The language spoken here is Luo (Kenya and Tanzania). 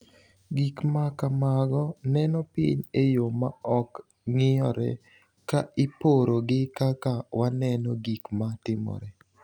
Gik ma kamago neno piny e yo ma ok ng’iyore ka iporo gi kaka waneno gik ma timore.